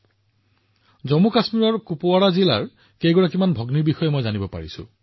মই জম্মু আৰু কাশ্মীৰৰ কুপৱাৰা জিলাৰ বহুতো ভগ্নীৰ বিষয়েও জানিব পাৰিছো